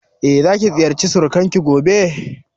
Za ki ziyarci surukan ki gobe?